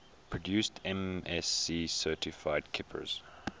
produce msc certified kippers